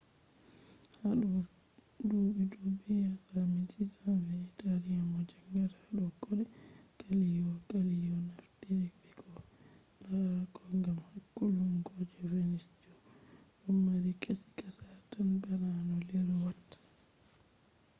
hado dubi dubu yeso ha 1620 italian mo jangata hado kode galileo galeli naftiri be koh larata kode gam hakkulungo je venus do mari kashi kasha tan bana no leru watta